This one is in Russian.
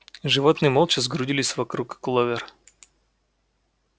животные молча сгрудились вокруг кловер